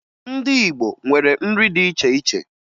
Ndị Igbo nwere nri dị iche iche